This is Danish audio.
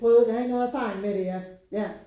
Prøvet der ikke havde nogen erfaring med det ja ja